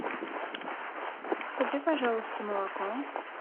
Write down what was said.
купи пожалуйста молоко